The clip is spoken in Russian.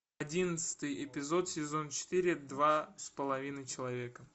одиннадцатый эпизод сезон четыре два с половиной человека